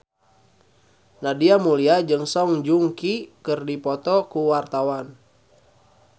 Nadia Mulya jeung Song Joong Ki keur dipoto ku wartawan